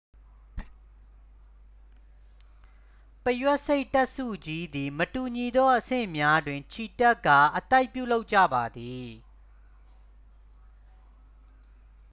ပုရွက်ဆိတ်တပ်စုကြီးသည် မတူညီသောအဆင့်များတွင် ချီတက်ကာ အသိုက်ပြုလုပ်ကြပါသည်